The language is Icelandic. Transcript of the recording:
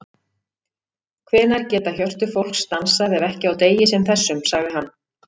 Hvenær geta hjörtu fólks dansað ef ekki á degi sem þessum, sagði hann.